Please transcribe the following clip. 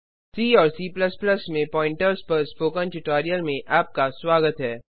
सी और C में pointers pointers पर स्पोकन ट्यूटोरियल में आपका स्वागत है